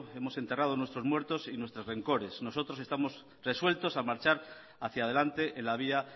hemos enterrado nuestros muertos y nuestros rencores nosotros estamos resueltos a marchar hacia adelante en la vía